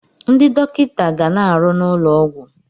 Ndị dọkịta ga na-arụ n'ụlọ ọgwụ.